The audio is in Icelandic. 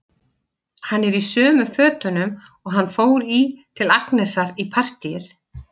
Hann er í sömu fötunum og hann fór í til Agnesar í partíið.